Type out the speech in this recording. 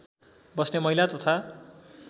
बस्ने महिला तथा